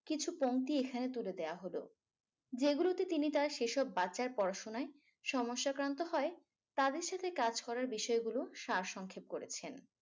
কিছু পংক্তি এখানে তুলে দেয়া হলো যেগুলোতে তিনি তার সেসব বাচ্চার পড়াশুনায় সমস্যাক্রান্ত হয় তাদের সাথে কাজ করার বিষয়গুলো সারসংক্ষেপ করেছেন